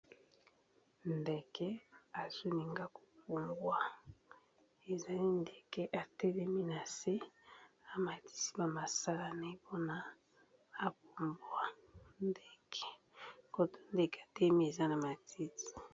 Ndeke etelemi likolo ya matiti pembeni ya liziba ya mayi, ezolinga epumbwa. Etomboli mapapu na yango oyo eza na langi ya moyindo na mutu eza na langi ya pembe.